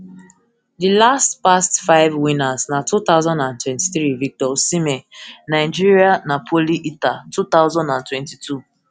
di last past five winners na two thousand and twenty-three victor osimhen nigeria napoli ita two thousand and twenty-two